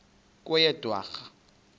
kweyedwarha